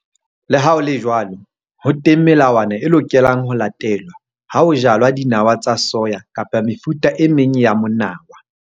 Le ha ho le jwalo ho teng melawana e lokelang ho latelwa ha ho jalwa dinawa tsa soya kapa mefuta e meng ya monawa.